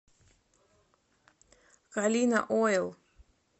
калина ойл